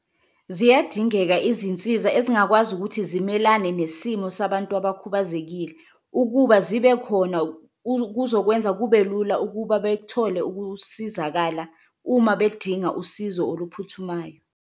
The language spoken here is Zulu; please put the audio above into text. Ziyadingeka izinsiza ezingakwazi ukuthi zimelane nesimo sabantu abakhubazekile ukuba zibe khona, kuzokwenza kube lula ukuba bethole ukusizakala uma bedinga usizo oluphuthumayo.